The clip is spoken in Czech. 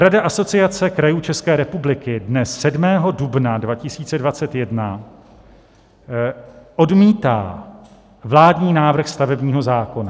Rada Asociace krajů České republiky dne 7. dubna 2021 odmítá vládní návrh stavebního zákona.